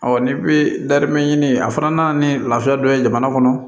ni bi darimɛ ɲini a fana nana ni lafiya dɔ ye jamana kɔnɔ